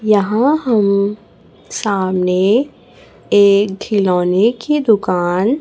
यहां हम सामने एक खिलौने की दुकान--